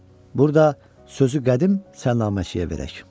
Burda sözü qədim sənnaməçiyə verək.